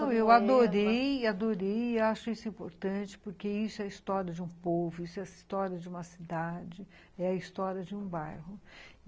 Não, eu adorei, adorei e acho isso importante porque isso é a história de um povo, isso é a história de uma cidade, é a história de um bairro.